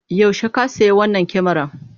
Yaushe ka sayi wannan kamaran?